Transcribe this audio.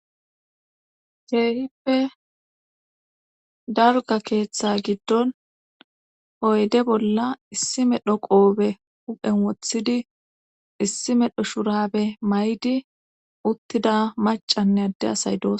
Sheehippe darga keeththe giddon hoyde bolla issime dho qoobe huphen wothidi issime dho shurabe maydi uttida macanne adde asay doos.